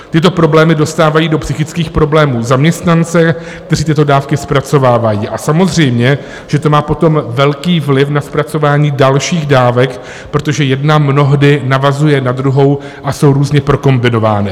Tyto problémy dostávají do psychických problémů zaměstnance, kteří tyto dávky zpracovávají, a samozřejmě že to má potom velký vliv na zpracování dalších dávek, protože jedna mnohdy navazuje na druhou a jsou různě prokombinovány.